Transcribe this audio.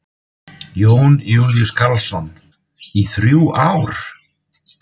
Jón Júlíus Karlsson: Í þrjú ár?